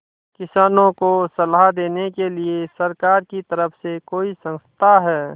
किसानों को सलाह देने के लिए सरकार की तरफ से कोई संस्था है